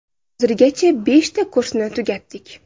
Hozirgacha beshta kursni tugatdik.